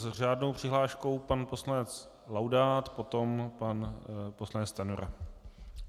S řádnou přihláškou pan poslanec Laudát, potom pan poslanec Stanjura.